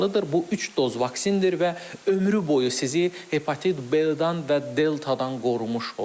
Bu üç doz vaksindir və ömrü boyu sizi hepatit B-dən və deltadan qorumuş olur.